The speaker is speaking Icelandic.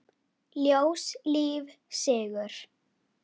Ljós, líf, sigur.